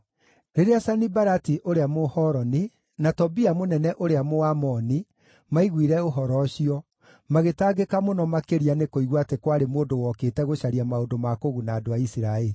Rĩrĩa Sanibalati ũrĩa Mũhoroni, na Tobia mũnene ũrĩa Mũamoni, maaiguire ũhoro ũcio, magĩtangĩka mũno makĩria nĩkũigua atĩ kwarĩ mũndũ wokĩte gũcaria maũndũ ma kũguna andũ a Isiraeli.